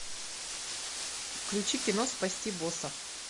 включи кино спасти босса